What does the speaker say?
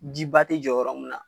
Jiba ti jɔ yɔrɔ mun na .